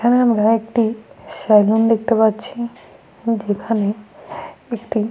এখানে আমরা একটি স্যালুন দেখতে পাচ্ছি যেখানে একটি।